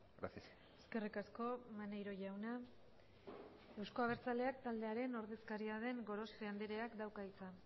gracias eskerrik asko maneiro jauna euzko abertzaleak taldearen ordezkaria den gorospe andreak dauka hitza